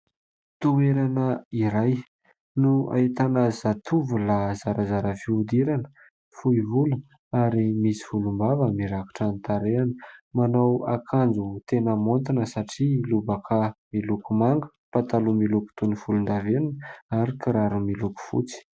Toerana iray no ahitana zatovo lahy zarazara fihodirana. Fohy volo ary misy volom-bava mirakitra ny tarehany. Manao akanjo tena maontina satria lobaka miloko manga, pataloha miloko toy ny volon-davenona ary kiraro miloko fotsy.